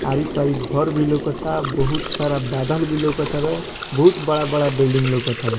आरी-पारी घर भी लउकता बहुत सारा बादल भी लउकता तावे बहुत बड़ा-बड़ा बिल्डिंग लउकत तावे।